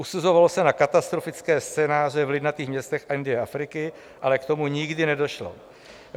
Usuzovalo se na katastrofické scénáře v lidnatých městech Indie a Afriky, ale k tomu nikdy nedošlo.